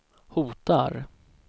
hotar